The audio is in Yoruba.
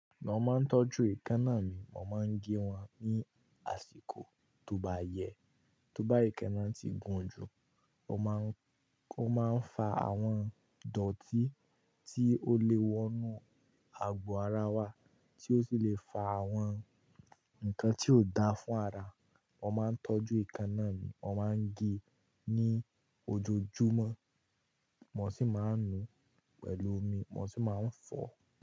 Mon máa ń tọ́jú ìkanna mi, mọ́n máa ń gé wọn ní àsìkò tó bayẹ́. Tó bá ìkanna ti gùn jù, ọ́ máa ń, o máa ń fa àwọn dọ̀tí tí ó le wọnú àgo ara wa, tí ó sì le fa àwọn nǹkan tí ò da fún ara. Mo máa ń tọ́jú ìkanna mi, mo máa ń gé ní ojoojúmọ́, mo sì máa ń nu pẹ̀lú omi, mo sì máa ń fọ.